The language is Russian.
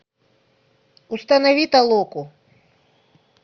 установи толоку